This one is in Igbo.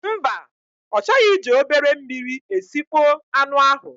Mba, ọ chọghị iji obere mmiri esịkpo anụ ahụ.